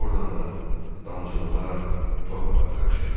Ordan da damcılanaraq torpağa qarışırdı.